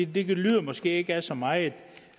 det lyder måske ikke af så meget